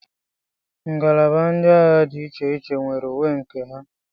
ngalaba ndị agha dị iche iche nwere uwe nke ha